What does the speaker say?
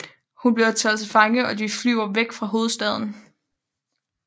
Hun bliver taget til fange og de flyver væk fra hovedstaden